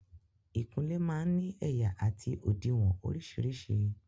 Ìkunlé máa ń ní ẹ̀yà àti òdiwọ̀n orísìírísìí.